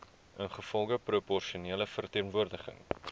ingevolge proporsionele verteenwoordiging